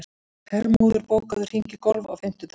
Hermóður, bókaðu hring í golf á fimmtudaginn.